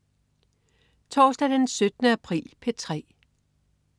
Torsdag den 17. april - P3: